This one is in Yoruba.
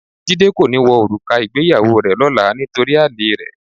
Jídé kò ní wọ òrùka ìgbéyàwó rẹ lọ́la nítorí àlèe rẹ̀.